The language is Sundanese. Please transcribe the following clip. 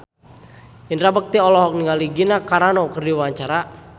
Indra Bekti olohok ningali Gina Carano keur diwawancara